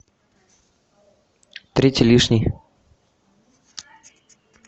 третий лишний